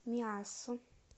миассу